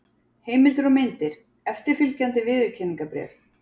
Heimildir og myndir: Eftirfylgjandi viðurkenningarbréf.